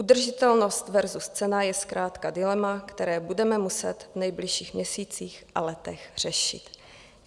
Udržitelnost versus cena je zkrátka dilema, které budeme muset v nejbližších měsících a letech řešit.